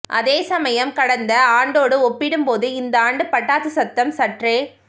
அதேசமயம் கடந்த ஆண்டோடு ஒப்பிடும் போது இந்தாண்டு பட்டாசு சத்தம் சற்றே